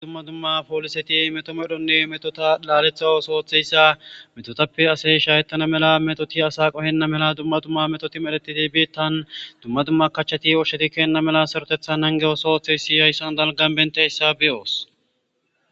Dumma dumma pooliseti metomedhonne metota laaletha os ooththeyssa metotappe ase shayettana mela metoti asa qohenna mela dumma dumma metoti medheti dibietan dumma dumma kachchati oshsheti kenna mela sarotethan nangeyosooththeysi hayssan dalgan bente hyssa beyoos.